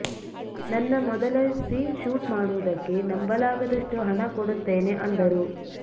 ನನ್ನ ಮೊದಲ scene shoot ಮಾಡುವುದಕ್ಕೆ ನಂಬಲಾಗದಷ್ಟು ಹಣ ಕೊಡುತ್ತೇನೆ ಅಂದರು